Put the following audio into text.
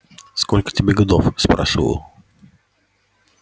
сколько тебе годов спрашивал